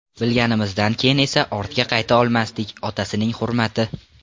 Bilganimizdan keyin esa ortga qayta olmasdik, otasining hurmati.